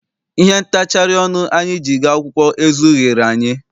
Ihe ntachari ọnụ anyị ji gaa akwụkwọ ezughịri anyị.